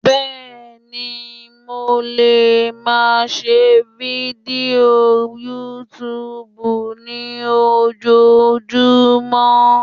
béèni mo le ma ṣe Fidio Youtube ni ojojumọ